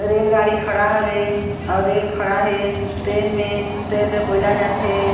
रेलगाड़ी खड़ा हवे अउ रेल खड़ा हे ट्रैन में ट्रैन में कोयला जाथे।